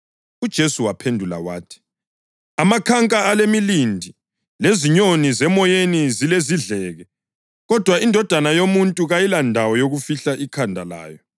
UJesu waphendula wathi, “Amakhanka alemilindi lezinyoni zemoyeni zilezidleke, kodwa iNdodana yoMuntu kayilandawo yokufihla ikhanda layo.”